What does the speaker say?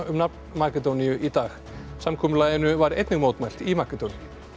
nafn Makedóníu í dag samkomulaginu var einnig mótmælt í Makedóníu